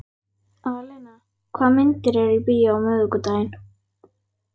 Alena, hvaða myndir eru í bíó á miðvikudaginn?